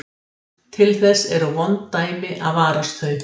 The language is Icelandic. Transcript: Til þess eru vond dæmi að varast þau.